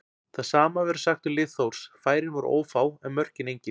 Það sama verður sagt um lið Þórs, færin voru ófá en mörkin engin.